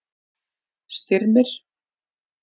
Styrmir